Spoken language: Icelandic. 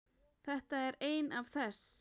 Þetta er ein af þess